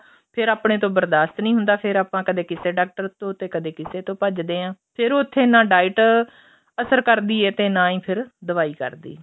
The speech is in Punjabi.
ਫ਼ਿਰ ਆਪਣੇ ਤੋਂ ਬਰਦਾਸਤ ਨੀ ਹੁੰਦਾ ਫੇਰ ਆਪਾਂ ਕਦੇ ਕਿਸੇ ਡਾਕਟਰ ਤੋਂ ਤੇ ਕਦੇ ਕਿਸੇ ਤੋਂ ਭੱਜਦੇ ਆਂ ਫੇਰ ਉੱਥੇ ਨਾ diet ਅਸਰ ਕਰਦੀ ਏ ਤੇ ਨਾ ਹੀ ਫ਼ਿਰ ਦਵਾਈ ਕਰਦੀ ਏ